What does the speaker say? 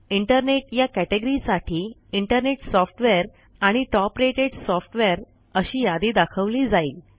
internet या category साठी internet software आणि टॉप रेटेड सॉफ्टवेअर अशी यादी दाखवली जाईल